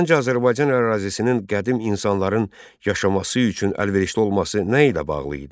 Səncə Azərbaycan ərazisinin qədim insanların yaşaması üçün əlverişli olması nə ilə bağlı idi?